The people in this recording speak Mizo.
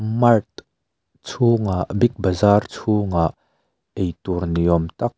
mart chhungah big bazar chhungah eitur ni awm tak--